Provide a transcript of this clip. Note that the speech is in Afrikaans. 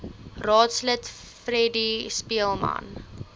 raadslid freddie speelman